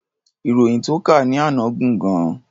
Ìròyìn tó kà ní àná gùn gan-an.